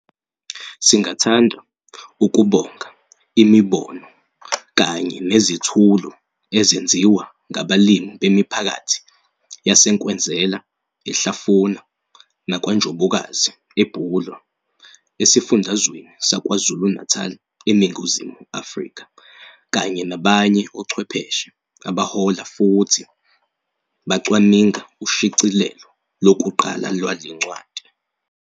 Singathanda ukubonga imibono kanye nezethulo ezenziwa ngabalimibemiphakathi yaseNkwezela, eHlafuna nakwaNjobokazi, eBulwer, esiFundazweni saKwaZulu-Natal, eNingizimu Afrika kanye nabanye ochwepheshe abahlola futhi bacwaninga ushicielo lokuqala lwale ncwadi.